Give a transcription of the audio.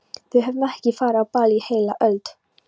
Við höfum ekki farið á ball í heila öld!